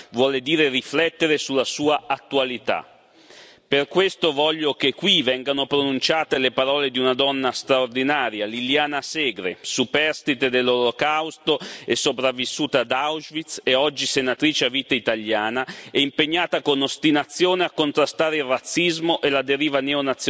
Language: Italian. Per questo voglio che qui vengano pronunciate le parole di una donna straordinaria, Liliana Segre, superstite dell'Olocausto, sopravvissuta ad Auschwitz e oggi senatrice a vita italiana, impegnata con ostinazione a contrastare il razzismo e la deriva neonazionalista e a difendere la nostra casa comune